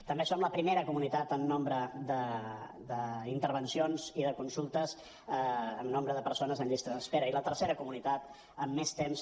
també som la primera comunitat en nombre d’intervencions i de consultes en nombre de persones en llista d’espera i la tercera comunitat amb més temps